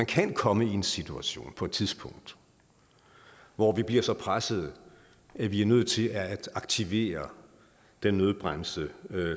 kan komme i en situation på et tidspunkt hvor vi bliver så pressede at vi er nødt til at aktivere den nødbremse